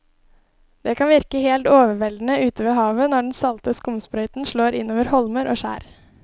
Det kan virke helt overveldende ute ved havet når den salte skumsprøyten slår innover holmer og skjær.